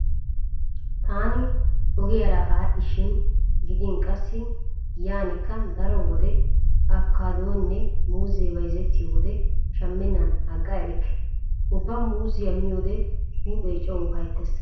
Taani ogiyara aadhdhishin gidin qassi giyaanikka daro wode afikaadoynne muuzzee bayzettiyo wode shammennan agga erikke. Ubba muuzziya miyode huuphee coo ufayttees.